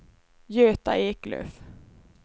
Göta Eklöf